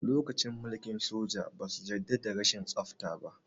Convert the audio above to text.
Lokacin mulkin soja, ba su yarda da rashin tsafta ba.